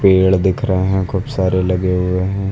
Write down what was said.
पेड़ दिख रहे हैं खूब सारे लगे हुए हैं।